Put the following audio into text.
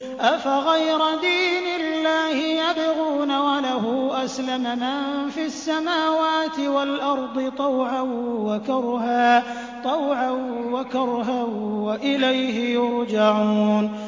أَفَغَيْرَ دِينِ اللَّهِ يَبْغُونَ وَلَهُ أَسْلَمَ مَن فِي السَّمَاوَاتِ وَالْأَرْضِ طَوْعًا وَكَرْهًا وَإِلَيْهِ يُرْجَعُونَ